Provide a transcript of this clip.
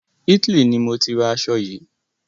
Italy ni mọ tí ra aṣo yìí.